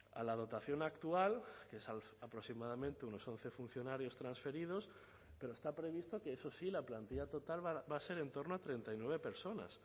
a la dotación actual que es aproximadamente unos once funcionarios transferidos pero está previsto que eso sí la plantilla total va a ser en torno a treinta y nueve personas